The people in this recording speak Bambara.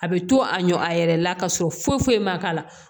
A bɛ to a ɲɔn a yɛrɛ la ka sɔrɔ foyi foyi ma k'a la